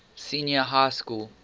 senior high school